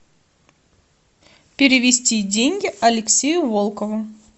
перевести деньги алексею волкову